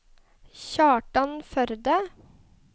Kjartan Førde